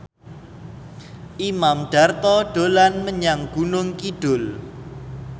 Imam Darto dolan menyang Gunung Kidul